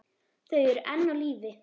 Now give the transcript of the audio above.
Þau eru enn á lífi.